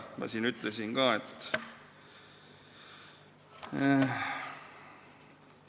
Ma siin ütlesin ka, et ...